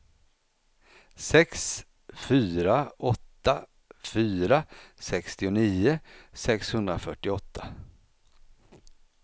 sex fyra åtta fyra sextionio sexhundrafyrtioåtta